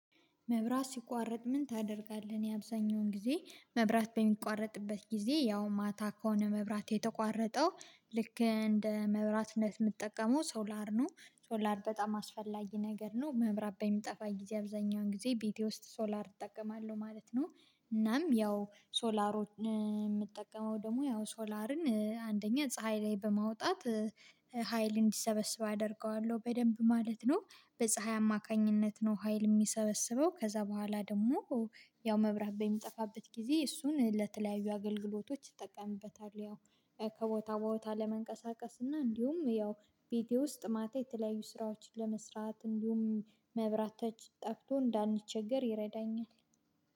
መብራት ሲቋረጥ ምን ታደርጋለህ? እኔ አብዛኛውን ጊዜ መብራት በሚቋረጥበት ጊዜ፤ ያው ማታ ከሆነ መብራት የተቋረጠው ልክ እንደ መብራት እንደምትጠቀመው ሶላር ነው። ሶላር በጣም አስፈላጊ ነገር ነው። መብራት በሚጠፋ ጊዜ አብዛኛውን ጊዜ ቤቴ ውስጥ ሶላር እጠቀማለሁ ማለት ነው። እናም ያው ሶላር የምትጠቀመው ደግሞ ያው፤ ሶላርን አንደኛ ፀሀይ ላይ በማውጣት ሀይል እንዲሰበስብ አደርገዋለሁ። በደንብ ማለት ነው። በፀሀይ አማካኝነት ነው ሀይል የሚሰበስበው። ከዛ በኋላ ደግሞ ያው መብራት በሚጠፋበት ጊዜ እሱን ለተለያዩ አገልግሎቶች እጠቀምበታለሁ። ያው ከቦታ ቦታ ለመንቀሳቀስ እና እንዲሁም ያው ቤቴ ውስጥ ማታ የተለያዩ ስራዎችን ለመስራት እንዲሁም መብራት ተች ጠቅቶ እንዳንቸገር ይረዳኛ።